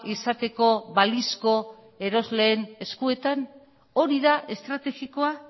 izateko balizko erosleen eskuetan hori da estrategikoa